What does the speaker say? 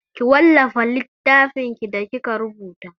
Ki wallafa littafinki da kika rubuta!